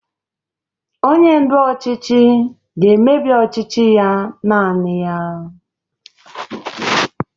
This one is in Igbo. Onye ndu ọchịchị ga-emebi ọchịchị ya naanị ya